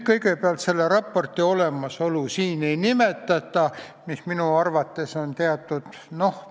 Kui selle raporti olemasolu siin ei nimetata, siis minu arvates on see teatud ...